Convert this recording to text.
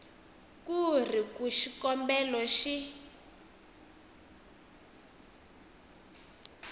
ku ri ku xikombelo xi